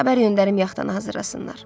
Xəbər göndərim yaxtanı hazırlasınlar.